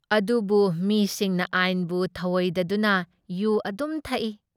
ꯑꯗꯨꯕꯨ ꯃꯤꯁꯤꯡꯅ ꯑꯥꯏꯟꯕꯨ ꯊꯧꯑꯣꯏꯗꯗꯨꯅ ꯌꯨ ꯑꯗꯨꯝ ꯊꯛꯏ ꯫